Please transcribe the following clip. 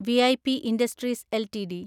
V I P industries LTD